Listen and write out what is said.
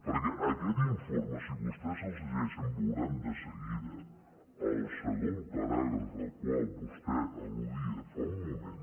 perquè aquests informes si vostès se’ls llegeixen veuran de seguida al segon paràgraf al qual vostè alludia fa un moment